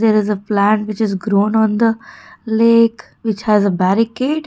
there is a plant which is grown on the lake which has a barricade.